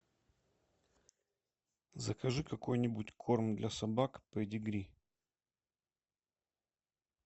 закажи какой нибудь корм для собак педигри